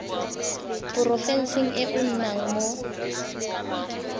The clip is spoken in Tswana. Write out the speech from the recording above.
porofenseng e o nnang mo